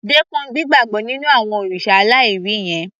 Dẹ́kun gbígbàbọ́ nínú àwọn òrìṣà aláìrí yẹn